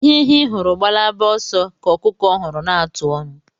Ihe ehi hụrụ gbalaba oso ka okuku huru na-atụ onu